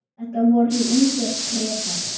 Þetta voru ungir Bretar.